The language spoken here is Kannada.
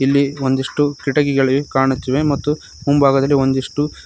ಇಲ್ಲಿ ಒಂದಿಷ್ಟು ಕಿಟಕಿಗಳಿ ಕಾಣುತ್ತಿವೆ ಮತ್ತು ಮುಂಭಾಗದಲ್ಲಿ ಒಂದಿಷ್ಟು--